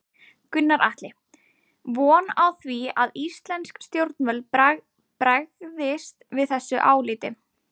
Gunnar Atli:. von á því að íslensk stjórnvöld bregðist við þessu áliti?